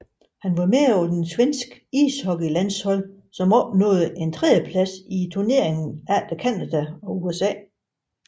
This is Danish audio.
Han var med på det svenske ishockeylandshold som opnåede en tredjeplads i turneringen efter Canada og USA